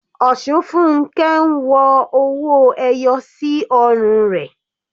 Osunfunke ń wọ owó ẹyọ sí ọrùn rẹ̀.